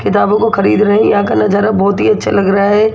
किताबों को खरीद रहे हैं यहां नजारा बहोत ही अच्छा लग रहा है।